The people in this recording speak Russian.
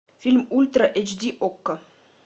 фильм ультра эйч ди окко